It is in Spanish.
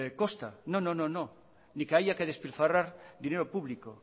costa no no ni que haya que despilfarrar dinero público